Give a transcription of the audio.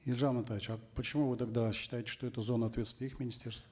елжан амантаевич а почему вы тогда считаете что это зона ответственности их министерства